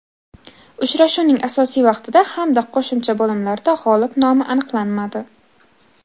Uchrashuvning asosiy vaqtida hamda qo‘shimcha bo‘limlarda g‘olib nomi aniqlanmadi.